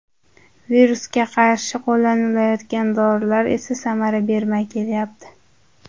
Virusga qarshi qo‘llanilayotgan dorilar esa samara bermay kelyapti.